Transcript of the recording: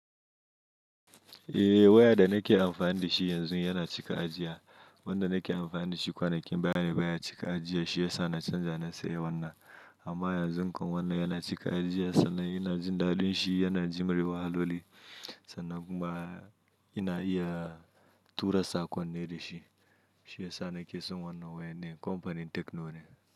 Eh waya da nake amfani da shi yanzu yana cika ajiya. Wanda nake amfani da shi kwanakin baya baya cika ajiya shi ya sa na canza na sayi wannan. Amma yanzu kuma wannan yana cika ajiya sannan ina jin daɗin shi, yana jim re wahaloli sannan kuma ina iya tura saƙonni da shi. Shi ya sa nake son wannan waya ne, kamfanin Techno ne.